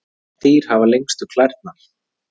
Hvaða dýr hafa lengstu klærnar?